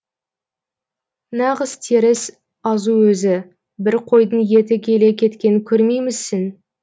нағыз теріс азу өзі бір қойдың еті келе кеткенін көрмеймісің